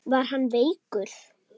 Var hann veikur?